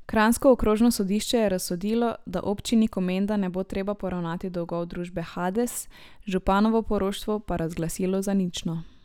Kranjsko okrožno sodišče je razsodilo, da občini Komenda ne bo treba poravnati dolgov družbe Hades, županovo poroštvo pa razglasilo za nično.